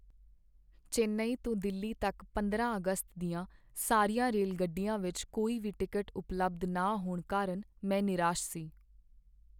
ਚੇਨਈ ਤੋਂ ਦਿੱਲੀ ਤੱਕ ਪੰਦਰਾਂ ਅਗਸਤ ਦੀਆਂ ਸਾਰੀਆਂ ਰੇਲਗੱਡੀਆਂ ਵਿਚ ਕੋਈ ਵੀ ਟਿਕਟ ਉਪਲਬਧ ਨਾ ਹੋਣ ਕਾਰਨ ਮੈਂ ਨਿਰਾਸ਼ ਸੀ